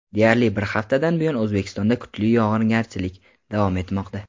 Deyarli bir haftadan buyon O‘zbekistonda kuchli yog‘ingarchilik davom etmoqda.